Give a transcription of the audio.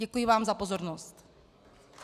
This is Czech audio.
Děkuji vám za pozornost.